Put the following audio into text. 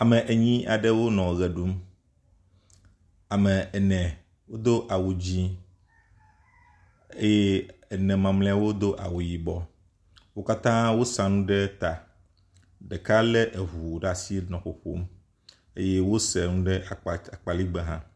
Ame enyi aɖwo nɔ ʋe ɖum. Ame ene wodo awu dzi eye ene mamleawo do awu yibɔ. Wo katã wosa nu ɖe eta. Ɖeka le eŋu ɖe asi nɔ ƒoƒom eye wose nu ɖe akpa akpaligbe hã.